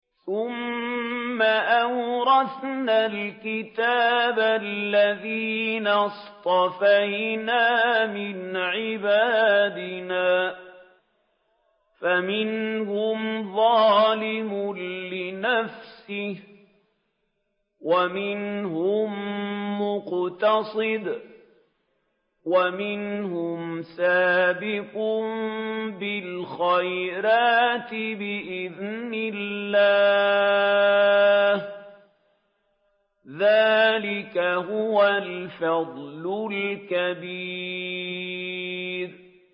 ثُمَّ أَوْرَثْنَا الْكِتَابَ الَّذِينَ اصْطَفَيْنَا مِنْ عِبَادِنَا ۖ فَمِنْهُمْ ظَالِمٌ لِّنَفْسِهِ وَمِنْهُم مُّقْتَصِدٌ وَمِنْهُمْ سَابِقٌ بِالْخَيْرَاتِ بِإِذْنِ اللَّهِ ۚ ذَٰلِكَ هُوَ الْفَضْلُ الْكَبِيرُ